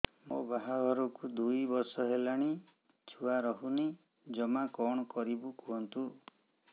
ମୋ ବାହାଘରକୁ ଦୁଇ ବର୍ଷ ହେଲାଣି ଛୁଆ ରହୁନି ଜମା କଣ କରିବୁ କୁହନ୍ତୁ